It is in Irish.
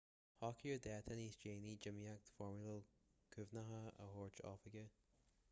socraíodh dáta níos déanaí d'imeacht foirmiúil cuimhneacháin a dúirt oifigigh